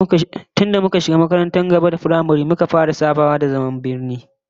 Tun da muka shiga makarantar gaba da firamare muka fara sabawa da zaman birni